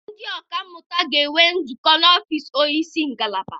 Ndị ọka mmụta ga-enwe nzukọ n'ọfiisi onye isi ngalaba.